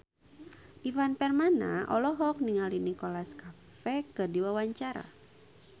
Ivan Permana olohok ningali Nicholas Cafe keur diwawancara